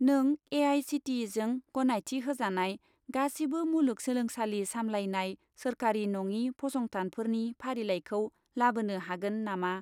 नों ए.आइ.सि.टि.इ.जों गनायथि होजानाय गासिबो मुलुग सोलोंसालि सामलायनाय सोरखारि नङि फसंथानफोरनि फारिलाइखौ लाबोनो हागोन नामा?